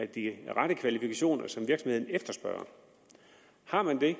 de rette kvalifikationer som virksomheden efterspørger har man